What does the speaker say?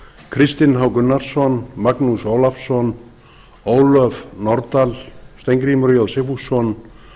kristinn h gunnarsson magnús stefánsson ólöf nordal steingrímur j sigfússon